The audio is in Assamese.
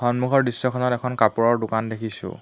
সন্মুখৰ দৃশ্যখনত এখন কাপোৰৰ দোকানৰ দেখিছোঁ।